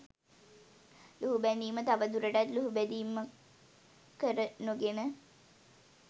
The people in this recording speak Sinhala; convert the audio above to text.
ලුහුබැඳීම තවදුරටත් ලුහුබැඳීමක් කර නොගෙන